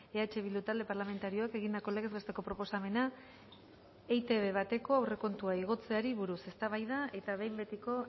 eh bildu talde parlamentarioak egindako legez besteko proposamena etb bateko aurrekontua igotzeari buruz eztabaida eta behin betiko